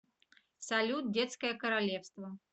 салют детское королевство